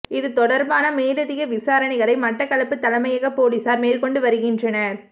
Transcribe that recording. இது தொடர்பான மேலதிக விசாரணைகளை மட்டக்களப்பு தலைமையக பொலிஸார் மேற்கொண்டு வருகின்றனர்